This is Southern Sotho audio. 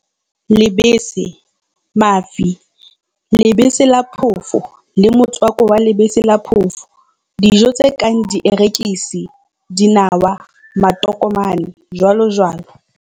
Lebese, mafi, lebese la phofo le motswako wa lebese la phofo Dijo tse kang dierekisi, dinawa, matokomane, jj.